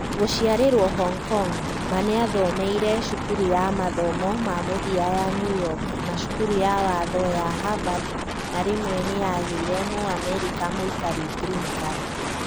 Gũciarĩrwo Hong Kong, Ma nĩathomeire Cukuru ya mathomo ma mũthia ya New York na cukuru ya watho ya Harvard na rĩmwe nĩya gĩire mũamerica mũikari "green card"